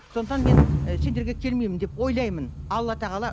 сондықтан мен і сендерге келмеймін деп ойлаймын алла тағала